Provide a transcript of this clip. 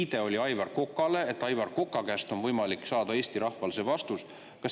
Viide oli Aivar Kokale, et Aivar Koka käest on võimalik Eesti rahval see vastus saada.